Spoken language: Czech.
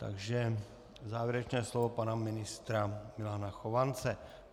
Takže závěrečné slovo pana ministra Milana Chovance.